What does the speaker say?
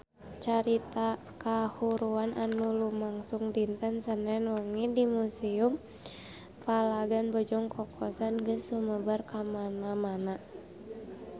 Carita kahuruan anu lumangsung dinten Senen wengi di Museum Palagan Bojong Kokosan geus sumebar kamana-mana